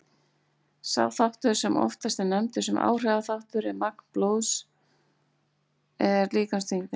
Sá þáttur sem oftast er nefndur sem áhrifaþáttur á magn blóðs er líkamsþyngdin.